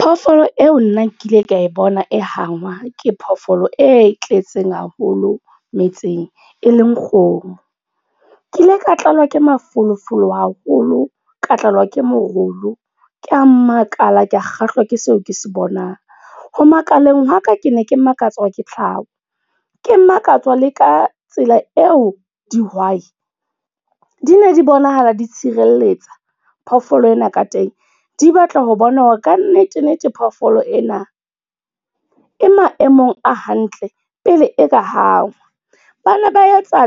Phoofolo eo nna ke ile ka e bona e hangwa, ke phoofolo e tletseng haholo metseng, e leng kgomo. Ke ile ka tlala k, e mafolofolo haholo, ka tlala ke morolo. Ke makala, ka kgahlwa ke seo ke se bonang. Ho makaleng wa ka, ke ne ke makatswa ke tlhaho. Ke makatswa le ka tsela eo dihwai di ne di bonahala di tshireletsa phoofolo ena ka teng. Di batla ho bona hore ka nnete nnete phoofolo ena e maemong a hantle pele e ka hangwa. Ba na ba e tsa